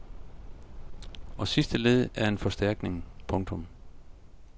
Og sidste led er en forstærkning. punktum